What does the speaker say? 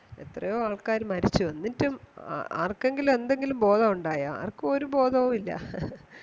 എത്രെയോ ആൾക്കാര് മരിച്ചു എന്നിട്ടും ആ ആർകെങ്കിലും എന്തെങ്കിലും ബോദോണ്ടായോ ആർക്കും ഒരു ബോധവും ഇല്ല